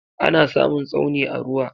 Ana samun Tsauni a ruwa.